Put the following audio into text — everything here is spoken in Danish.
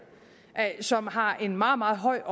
som har en meget meget høj